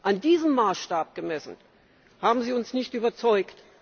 An diesem Maßstab gemessen, haben Sie uns nicht überzeugt.